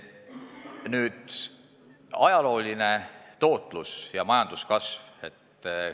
Nüüd ajaloolisest tootlusest ja majanduskasvust.